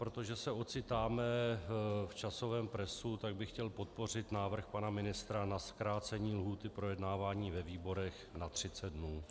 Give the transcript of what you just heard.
Protože se ocitáme v časovém presu, tak bych chtěl podpořit návrh pana ministra na zkrácení lhůty k projednávání ve výborech na 30 dnů.